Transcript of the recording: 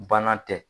Banan tɛ